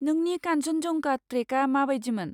नोंनि कान्चनजंगा ट्रेकआ माबायदिमोन?